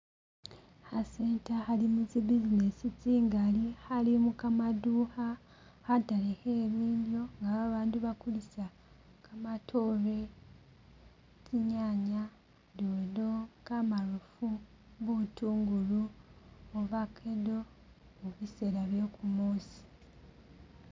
Kha'center khalimo tsi'bussness tsingali khalimo kamaduukha khatale khebilyo nga babandu bakulisa kamatoore tsinyanya dodo kamarofu, butungulu, ovakedo mubisela byekumusi.